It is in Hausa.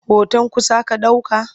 Hoton kusa ka ɗauka?